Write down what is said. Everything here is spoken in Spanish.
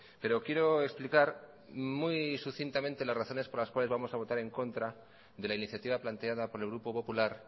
pero quiero explicar muy sucintamente las razones por las que vamos a votar en contra de la iniciativa planteada por el grupo popular